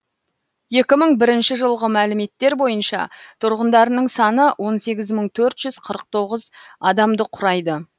екі мың бірінші жылғы мәліметтер бойынша тұрғындарының саны он сегіз мың төрт жүз қырық тоғыз адамды құрайды